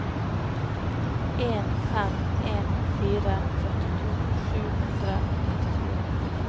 en fem en fire førtito sju hundre og nittifire